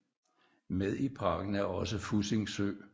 Med i parken er også Fussing Sø